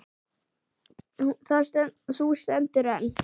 Það hús stendur enn.